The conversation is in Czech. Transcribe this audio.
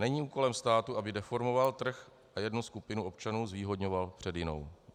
Není kolem státu, aby deformoval trh a jednu skupinu občanů zvýhodňoval před jinou.